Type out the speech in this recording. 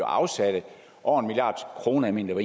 afsatte over en milliard kroner jeg mener